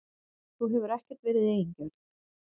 Þú hefur ekkert verið eigingjörn.